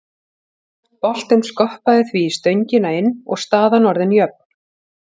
Boltinn skoppaði því í stöngina inn og staðan orðin jöfn.